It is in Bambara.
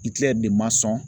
de ma sɔn